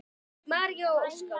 María og Óskar.